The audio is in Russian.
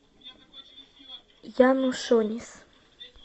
янушонис